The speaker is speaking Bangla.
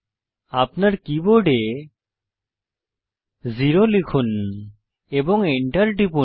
আপনার কীবোর্ড 0 লিখুন এবং enter টিপুন